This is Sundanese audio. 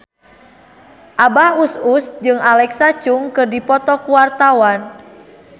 Abah Us Us jeung Alexa Chung keur dipoto ku wartawan